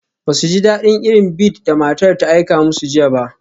Ba su ji daɗin irin bead da matar ta aika musu jiya ba.